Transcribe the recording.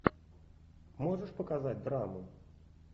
можешь показать драмы